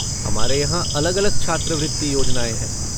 हमारे यहाँ अलग अलग छात्रवृत्ति योजनाएँ हैं।